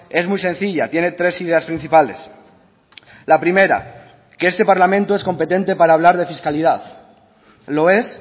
es muy sencilla tiene tres ideas principales la primera que este parlamento es competente para hablar de fiscalidad lo es